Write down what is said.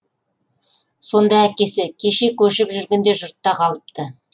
сонда әкесі кеше көшіп жүргенде жұртта қалыпты